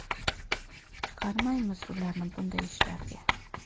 Chiqarmaymiz ularni bunday ishlarga!”.